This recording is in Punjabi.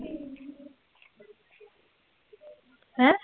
ਹੈਂ?